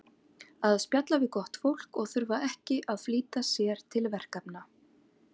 Að spjalla við gott fólk og þurfa ekki að flýta sér til verkefna.